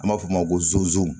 An b'a f'o ma ko zon